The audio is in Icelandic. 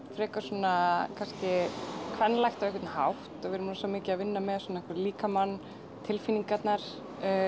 frekar svona kannski kvenlægt á einhvern hátt og við erum rosa mikið að vinna með svona eitthvað líkamann tilfinningarnar